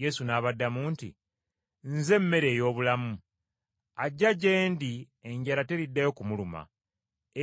Yesu n’abaddamu nti, “Nze mmere ey’obulamu. Ajja gye ndi enjala teriddayo kumuluma,